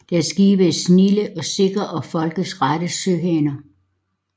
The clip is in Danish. Deres Skibe er snilde og sikre og Folket rette Søhaner